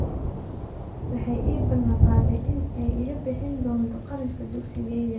Waxay ii ballan qaaday in ay iga bixin doonto kharashka dugsigayga.